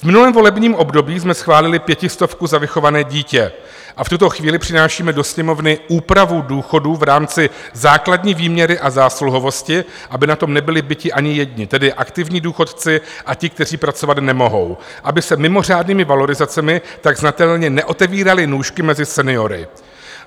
V novém volebním období jsme schválili pětistovku za vychované dítě a v tuto chvíli přinášíme do Sněmovny úpravu důchodů v rámci základní výměry a zásluhovosti, aby na tom nebyli biti ani jedni, tedy aktivní důchodci, a ti, kteří pracovat nemohou, aby se mimořádnými valorizacemi tak znatelně neotevíraly nůžky mezi seniory.